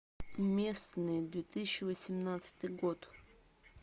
местные две тысячи восемнадцатый год